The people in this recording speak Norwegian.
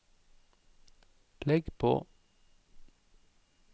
legg på